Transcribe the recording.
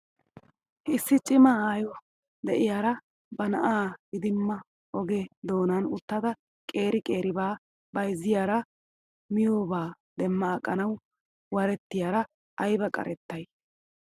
Issi cima aayo de'iyaara ba na'aa idimmada oge doonan uttada qeeri qeeribaa bayzziyaara miyoobaa demma aqanaw warettiyaara ayba qarettay m